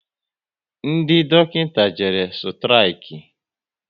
Ndị dọkịta jere sturiki